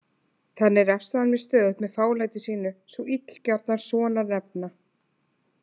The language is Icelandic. Þannig refsaði hann mér stöðugt með fálætinu, sú illgjarna sonarnefna.